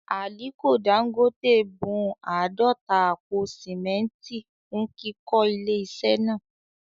Àliko Dangote bun àádọ́ta àpò sìmẹ́ntì fún kíkọ́ ilé iṣẹ́ náà